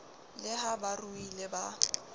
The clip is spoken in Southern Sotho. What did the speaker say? le ha ba ruile ba